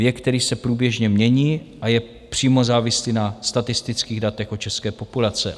Věk, který se průběžně mění a je přímo závislý na statistických datech o české populaci.